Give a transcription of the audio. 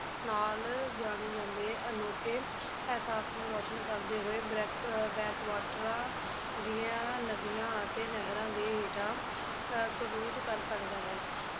ਨਾਲ ਜਾਣੇ ਜਾਂਦੇ ਅਨੋਖੇ ਅਹਿਸਾਸ ਨੂੰ ਰੋਸ਼ਨ ਕਰਦੇ ਹੋਏ ਬ੍ਰੈਕ ਅਹ brake water ਦੀਆਂ ਨਦੀਆਂ ਅਤੇ ਨਹਿਰਾਂ ਦੇ ਹੇਠਾਂ ਅਹ ਕਰੂਜ਼ ਕਰ ਸਕਦਾ ਹੈ